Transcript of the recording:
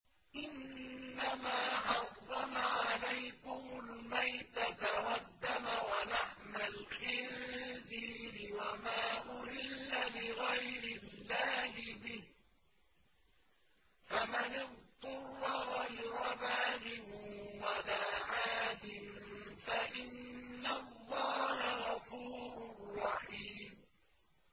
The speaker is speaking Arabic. إِنَّمَا حَرَّمَ عَلَيْكُمُ الْمَيْتَةَ وَالدَّمَ وَلَحْمَ الْخِنزِيرِ وَمَا أُهِلَّ لِغَيْرِ اللَّهِ بِهِ ۖ فَمَنِ اضْطُرَّ غَيْرَ بَاغٍ وَلَا عَادٍ فَإِنَّ اللَّهَ غَفُورٌ رَّحِيمٌ